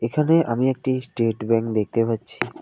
এখানে আমি একটি স্টেট ব্যাঙ্ক দেখতে পাচ্ছি।